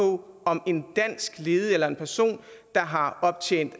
på om en dansk ledig eller en person der har optjent